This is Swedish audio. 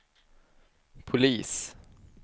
polis